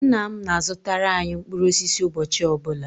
Nna m na-azụtara anyị mkpụrụ osisi ụbọchị ọ bụla